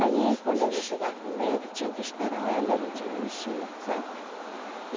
Aí, quando a gente chegava primeiro, tinha que esperar ela, a gente não mexia, sabe?